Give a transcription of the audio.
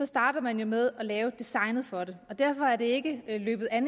starter man jo med at lave designet for det og derfor er det ikke løbet af